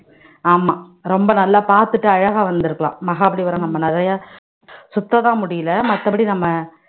ஆமா ரொம்ப நல்லா பாத்துட்டு அழகா வந்திருக்கலாம் மகாபலிபுரம் நம்ம நிறையா சுத்ததான் முடியலை மத்தபடி நம்ம